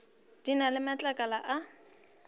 di na le matlakala a